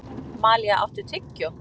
Malía, áttu tyggjó?